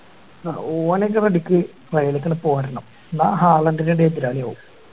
ആഹ് ഓൻ ഒക്കെ ready ക്ക് മേലേക്ക് ഇങ്ങ് പോരണം അഹ്